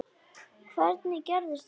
Hvernig gerðist þetta?